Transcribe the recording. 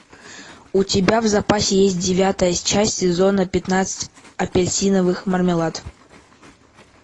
у тебя в запасе есть девятая часть сезона пятнадцать апельсиновый мармелад